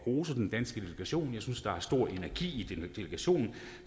rose den danske delegation jeg synes der er stor energi i delegationen at